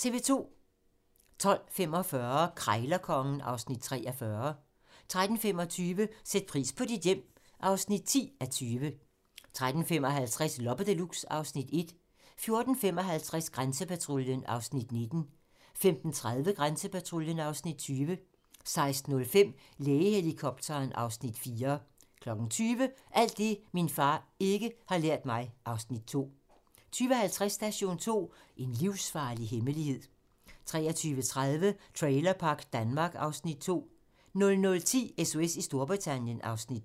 12:45: Krejlerkongen (Afs. 43) 13:25: Sæt pris på dit hjem (10:20) 13:55: Loppe Deluxe (Afs. 1) 14:55: Grænsepatruljen (Afs. 19) 15:30: Grænsepatruljen (Afs. 20) 16:05: Lægehelikopteren (Afs. 4) 20:00: Alt det, min far ikke har lært mig (Afs. 2) 20:50: Station 2: En livsfarlig hemmelighed 23:30: Trailerpark Danmark (Afs. 2) 00:10: SOS i Storbritannien (Afs. 2)